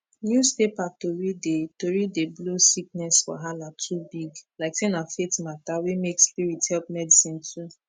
newspaper tori dey tori dey blow sickness wahala too big like say na faith matter wey make spirit help medicine too